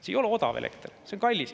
See ei ole odav elekter, see on kallis.